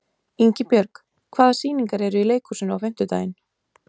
Ingibjörg, hvaða sýningar eru í leikhúsinu á fimmtudaginn?